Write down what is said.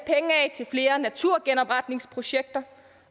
til flere naturgenopretningsprojekter